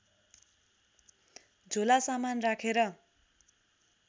झोला सामान राखेर